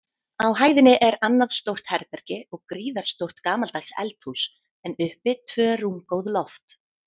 Á hæðinni er annað stórt herbergi og gríðarstórt gamaldags eldhús, en uppi tvö rúmgóð loft.